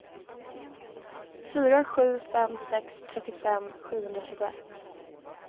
fyra sju fem sex trettiofem sjuhundratjugoett